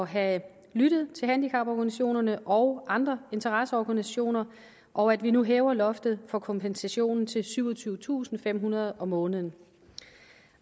have lyttet til handicaporganisationerne og andre interesseorganisationer og at vi nu hæver loftet for kompensationen til syvogtyvetusinde og femhundrede kroner om måneden